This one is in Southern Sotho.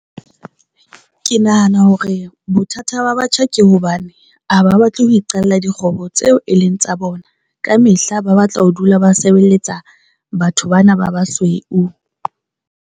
Ke nahana hore bothata ba batjha ke hobane ha ba batle ho iqalla dikgwebo tseo e leng tsa bona kamehla ba batla ho dula ba sebeletsa batho ba na ba basweu.